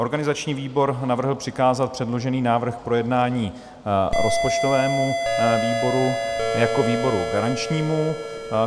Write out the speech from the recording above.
Organizační výbor navrhl přikázat předložený návrh k projednání rozpočtovému výboru jako výboru garančnímu.